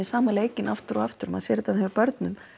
sama leikinn aftur og aftur maður sér þetta hjá börnum